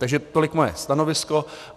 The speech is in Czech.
Takže tolik moje stanovisko.